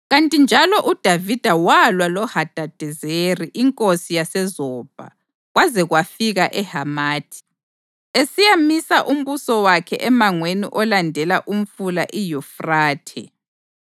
Kanti njalo, uDavida walwa loHadadezeri inkosi yaseZobha, kwaze kwafika eHamathi, esiyamisa umbuso wakhe emangweni olandela uMfula iYufrathe.